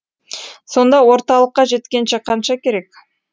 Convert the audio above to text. сонда орталыққа жеткенше қанша керек